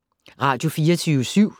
Radio24syv